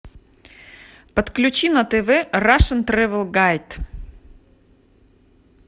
подключи на тв рашн трэвел гайд